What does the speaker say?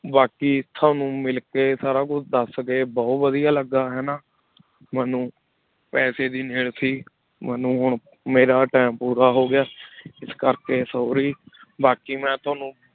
ਬਾਕੀ ਤੁਹਾਨੂੰ ਮਿਲਕੇ ਸਾਰਾ ਕੁਛ ਦੱਸ ਕੇ ਬਹੁਤ ਵਧੀਆ ਲੱਗਾ ਹਨਾ ਮੈਨੂੰ ਪੈਸੇ ਦੀ ਸੀ ਮੈਨੂੰ ਹੁਣ ਮੇਰਾ time ਪੂਰਾ ਹੋ ਗਿਆ ਇਸ ਕਰਕੇ sorry ਬਾਕੀ ਮੈਂ ਤੁਹਾਨੂੰ